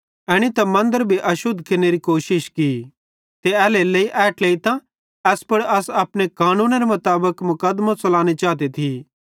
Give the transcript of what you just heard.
एनी त मन्दरे भी अशुद्ध केरनेरी कोशिश की ते एल्हेरेलेइ असेईं ए ट्लेइतां एस पुड़ अस अपने कानूनेरे मुताबिक मुकदमों च़लानो चाते थिये